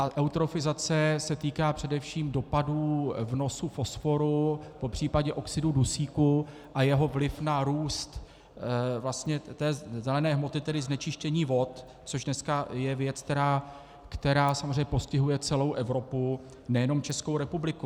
A eutrofizace se týká především dopadů vnosu fosforu, popřípadě oxidu dusíku a jeho vliv na růst vlastně té zelené hmoty, tedy znečištění vod, což dneska je věc, která samozřejmě postihuje celou Evropu, nejenom Českou republiku.